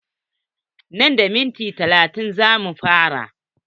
Nan da minti talatin za mu fara.